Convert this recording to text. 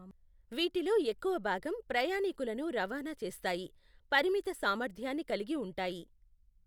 వీటిలో ఎక్కువ భాగం ప్రయాణీకులను రవాణా చేస్తాయి, పరిమిత సామర్థ్యాన్ని కలిగి ఉంటాయి.